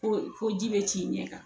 Ko fo ji bɛ ci ɲɛ kan